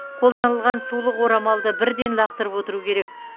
қолданылған сулық орамалды бірден лақтырып отыру керек